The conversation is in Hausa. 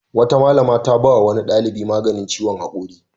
Wata malama ta ba wa wani ɗalibi maganin ciwon haƙori.